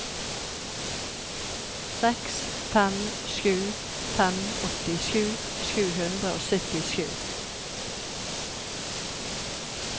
seks fem sju fem åttisju sju hundre og syttisju